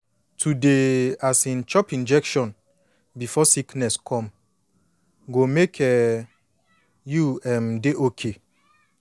to dey um chop injection before sickness come go make um you um dey okay